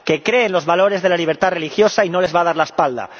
Que cree en los valores de la libertad religiosa y no les va a dar la espalda.